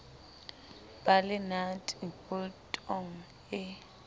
ba le nate boltong e